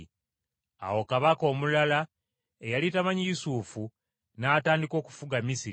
Awo kabaka omulala eyali tamanyi Yusufu n’atandika okufuga Misiri.